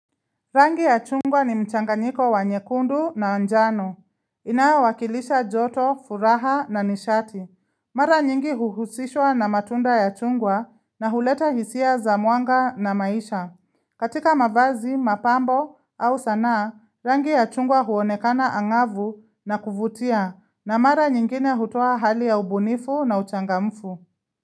Rangi ya chungwa ni mchanganyiko wa nyekundu na njano. Inayo wakilisha joto, furaha na nishati. Mara nyingi huhusishwa na matunda ya chungwa na huleta hisia za mwanga na maisha. Katika mavazi, mapambo au sanaa, rangi ya chungwa huonekana angavu na kuvutia na mara nyingine hutoa hali ya ubunifu na uchangamfu.